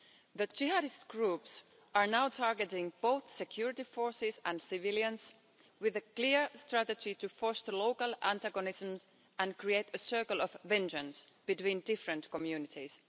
That Jihadist groups are now targeting both security forces and civilians, with a clear strategy to force local antagonism and create a circle of vengeance between different communities.